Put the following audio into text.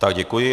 Tak děkuji.